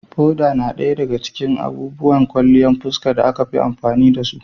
Foda yana ɗaya daga cikin abubuwan kwalliyan fuska da aka fi amfani da su.